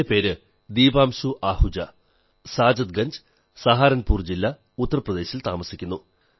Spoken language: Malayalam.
എന്റെ പേര് ദീപാംശു ആഹുജാ സാദത്ത് ഗംജ് സഹാരൻപൂർ ജില്ല ഉത്തർ പ്രദേശിൽ താമസിക്കുന്നു